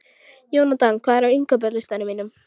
Jónatan, hvað er á innkaupalistanum mínum?